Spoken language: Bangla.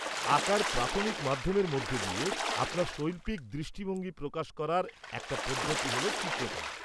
-আঁকার প্রাথমিক মাধ্যমের মধ্যে দিয়ে আপনার শৈল্পিক দৃষ্টিভঙ্গি প্রকাশ করার একটা পদ্ধতি হল চিত্রকলা।